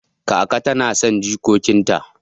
Kakata nason jikokin ta